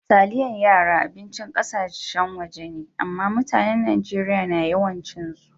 Taliyan yara abincin kassan waje me, amma mutanen Nijeriya na yawan cin su.